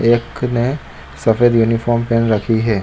एक ने सफ़ेद यूनिफार्म पहन रखी है।